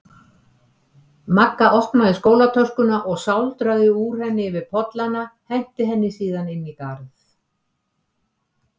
Magga opnaði skólatöskuna og sáldraði úr henni yfir pollana, henti henni síðan inn í garð.